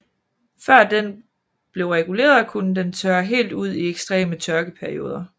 Før den blev reguleret kunne den tørre helt ud i ekstreme tørkeperioder